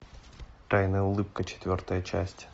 тайная улыбка четвертая часть